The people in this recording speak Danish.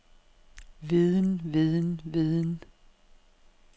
viden viden viden